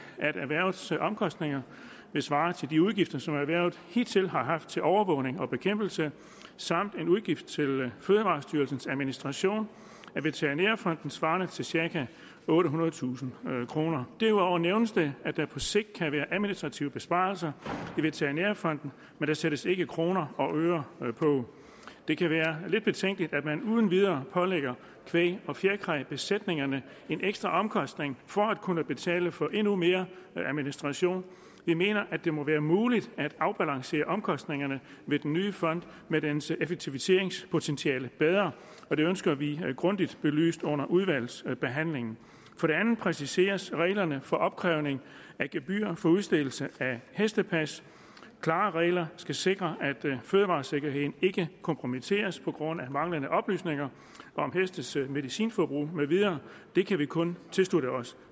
erhvervets omkostninger vil svare til de udgifter som erhvervet hidtil har haft til overvågning og bekæmpelse samt udgiften til fødevarestyrelsens administration af veterinærfonden svarende til cirka ottehundredetusind kroner derudover nævnes det at der på sigt kan være administrative besparelser i veterinærfonden men der sættes ikke kroner og øre på det kan være lidt betænkeligt at man uden videre pålægger kvæg og fjerkræbesætningerne en ekstra omkostning for at kunne betale for endnu mere administration vi mener at det må være muligt at afbalancere omkostningerne ved den nye fond med dens effektiviseringspotentiale bedre og det ønsker vi grundigt belyst under udvalgsbehandlingen for det andet præciseres reglerne for opkrævning af gebyr for udstedelse af hestepas klare regler skal sikre at fødevaresikkerheden ikke kompromitteres på grund af manglende oplysninger om hestes medicinforbrug med videre det kan vi kun tilslutte os